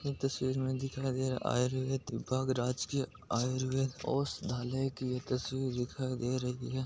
इस तस्वीर में दिखाय दे रहा है आयुर्वेदिक विभाग राजकीय औषधालय की तस्वीर दिखाय दे रही है।